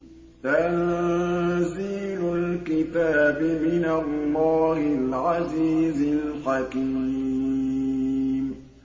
تَنزِيلُ الْكِتَابِ مِنَ اللَّهِ الْعَزِيزِ الْحَكِيمِ